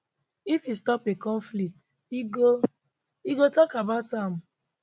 if e stop a conflict e go e go tok about am